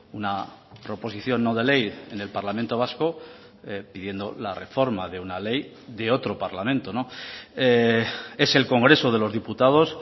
una proposición no de ley en el parlamento vasco pidiendo la reforma de una ley de otro parlamento es el congreso de los diputados